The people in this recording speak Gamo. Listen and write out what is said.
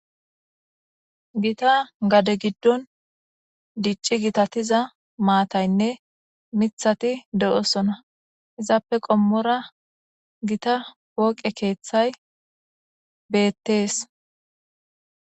Gita gade giddon dicci gitatiza maataynne mithati de'osona izappe qommora gita woqe keeththay beettees.